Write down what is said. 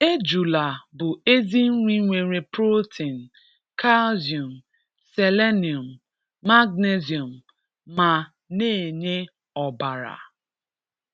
Éjùlà bụ̀ ezì nrì nwerè pròtèn, càlcìum, sèlènìum, màgnésíum mà na-enyè ọ̀barà.